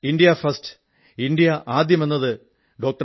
India first India ആദ്യം എന്നത് ഡോ